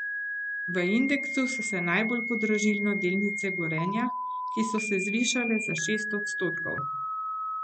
V indeksu so se najbolj podražile delnice Gorenja, ki so se zvišale za šest odstotkov.